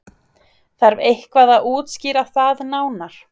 Þarf eitthvað að útskýra það nánar?